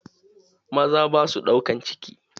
Maza ba su ɗaukan ciki.